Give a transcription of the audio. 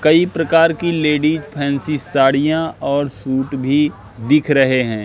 कई प्रकार की लेडिस फैंसी साड़ियां और सूट भी दिख रहे हैं।